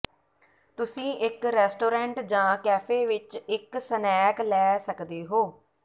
ਤੁਸੀਂ ਇੱਕ ਰੈਸਟੋਰੈਂਟ ਜਾਂ ਕੈਫੇ ਵਿੱਚ ਇੱਕ ਸਨੈਕ ਲੈ ਸਕਦੇ ਹੋ